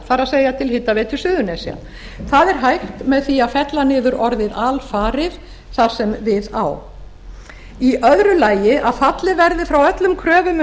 það er til hitaveitu suðurnesja það er hægt með því að fella niður orðið alfarið þar sem við á í öðru lagi að fallið verði frá öllum kröfum